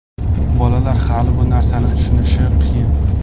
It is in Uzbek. Bolalar hali bu narsani tushunishi qiyin.